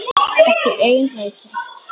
Ekki ein rækja.